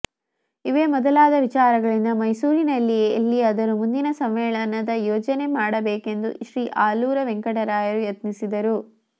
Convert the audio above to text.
ಇವೇ ಮೊದಲಾದ ವಿಚಾರಗಳಿಂದ ಮೈಸೂರಿನಲ್ಲಿಯೇ ಎಲ್ಲಿಯಾದರೂ ಮುಂದಿನ ಸಮ್ಮೇಳನದ ಯೋಜನೆ ಮಾಡಬೇಕೆಂದು ಶ್ರೀ ಆಲೂರ ವೆಂಕಟರಾಯರು ಯತ್ನಿಸಿದರು